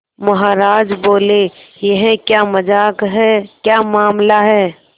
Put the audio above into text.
महाराज बोले यह क्या मजाक है क्या मामला है